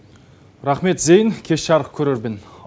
рахмет зейн кеш жарық көрермен